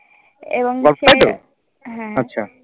এবং সে হ্যা